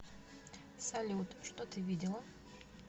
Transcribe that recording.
салют что ты видела